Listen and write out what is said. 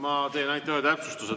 Ma teen ainult ühe täpsustuse.